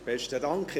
Besten Dank.